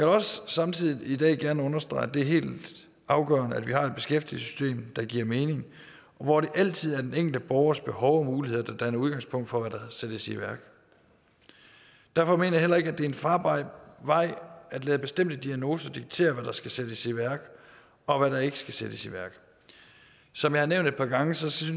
også samtidig i dag gerne understrege at det er helt afgørende at vi har et beskæftigelsessystem der giver mening og hvor det altid er den enkelte borgers behov og muligheder der danner udgangspunkt for hvad der sættes i værk derfor mener jeg heller ikke at det er en farbar vej at lade bestemte diagnoser diktere hvad der skal sættes i værk og hvad der ikke skal sættes i værk som jeg har nævnt et par gange synes